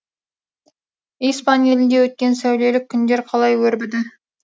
испан елінде өткен сәулелі күндер қалай өрбіді